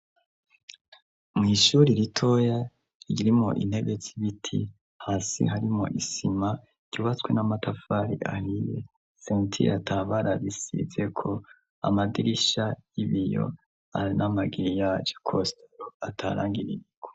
Mw'ishure ritoya ririmwo intebe z'ibiti, hasi harimwo isima ryubatswe n'amatafari ahiye. Sentire ata bara risizeko, amadirisha y'ibiyo n'amagiriyaje kositero ata rangi ririko.